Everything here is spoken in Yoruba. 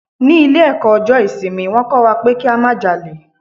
Ní ilé ẹ̀kọ́ ọjọ́ ìsinmi, wón kó wa pé kí a má jalè.